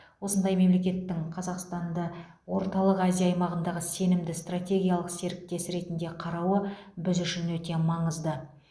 осындай мемлекеттің қазақстанды орталық азия аймағындағы сенімді стратегиялық серіктесі ретінде қарауы біз үшін өте маңызды